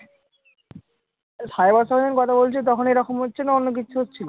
Cyber সঙ্গে যখন কথা বলছিলে তখন এরকম হচ্ছে না অন্য কিছু হচ্ছিলো?